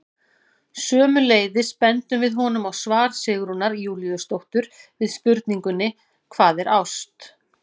Sömuleiðis bendum við honum á svar Sigrúnar Júlíusdóttur við spurningunni Hvað er ást?